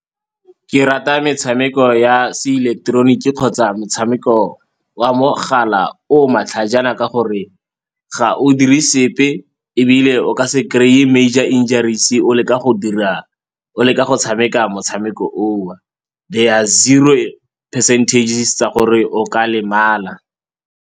Ke rata metshameko ya seileketeroniki kgotsa metshameko wa mogala o matlhajana ka gore ga o dire sepe ebile o ka se kry-e major injuries-e o leka go tshameka motshameko o. The are zero percentages tsa gore o ka lemala.